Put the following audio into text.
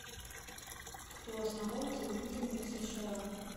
кто основал телевидение в сша